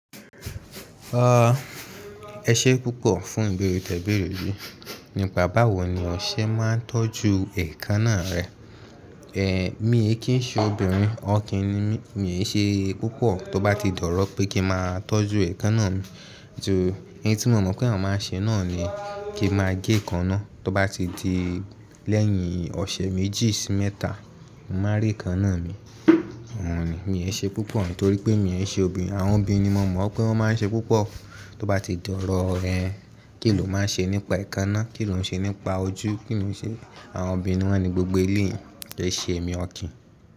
Ẹ ṣe púpọ̀ fún ìbẹ̀rè tẹ ìbẹ̀rè yìí. Nípa báwo ni ọṣẹ máa ń tọ́jú èékánná rẹ. Èmi kí n ṣe obìnrin, ọkùnrin ni mí, mí è ṣe púpọ̀ tó bá ti dọ̀rọ̀ pé kí n máa tọ́jú èékánná mi. Eyi tí mo mọ̀ pé àwọn máa ń ṣe náà ni kí n máa gé èékánná tó bá ti di lẹ́yìn ọṣẹ méjì sí mẹ́ta, màá rí èékánná mi. Ọ̀hun ni, mí è ṣe púpọ̀ nítorí pé mí è ṣe obìnrin. Àwọn obìnrin ni mo mọ̀ pé wọ́n máa ń ṣe púpọ̀. Tó bá ti dọ̀rọ̀, ẹn, kí ni o máa ń ṣe nípa èékánná? Kí ni o ń ṣe nípa ojú? Kí ni o ń ṣe? Àwọn obìnrin ni wọ́n ni gbogbo ilé yìí. Kì í ṣe èmi ọkùnrin.